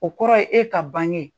O kɔrɔ ye e ka bange.